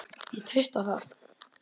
Ég treysti á það